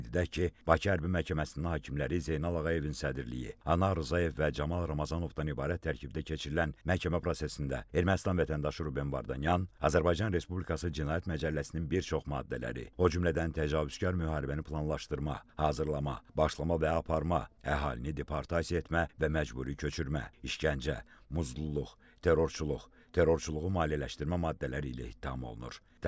Qeyd edək ki, Bakı Hərbi Məhkəməsinin hakimləri Zeynal Ağayevin sədrliyi, Anar Rzayev və Camal Ramazanovdan ibarət tərkibdə keçirilən məhkəmə prosesində Ermənistan vətəndaşı Ruben Vardanyan, Azərbaycan Respublikası Cinayət Məcəlləsinin bir çox maddələri, o cümlədən təcavüzkar müharibəni planlaşdırma, hazırlama, başlama və aparma, əhalini deportasiya etmə və məcburi köçürmə, işgəncə, muzdluq, terrorçuluq, terrorçuluğu maliyyələşdirmə maddələri ilə ittiham olunur.